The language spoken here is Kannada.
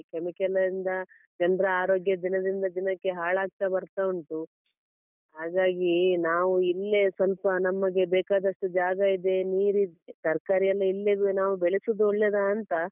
Chemical ಇಂದ ಜನ್ರ ಆರೋಗ್ಯ ದಿನದಿಂದ ದಿನಕ್ಕೆ ಹಾಳಾಗ್ತಾ ಬರ್ತಾ ಉಂಟು. ಹಾಗಾಗಿ ನಾವು ಇಲ್ಲೇ ಸ್ವಲ್ಪ ನಮಗೆ ಬೇಕಾದಷ್ಟು ಜಾಗ ಇದೆ ನೀರಿದೆ ತರ್ಕಾರಿ ಎಲ್ಲ ಇಲ್ಲೇ ನಾವು ಬೆಳೆಸುದು ಒಳ್ಳೆದಾಂತ.